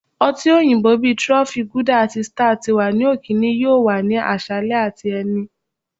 ọti oyinbo bi trophy, guilder ati star ti wa ni okeene yoo wa ni aṣalẹ ati ẹni.